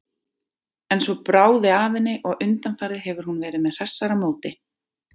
En svo bráði af henni og undanfarið hefur hún verið með hressara móti.